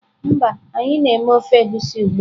Mba, anyi na eme ofe egusi ugbua.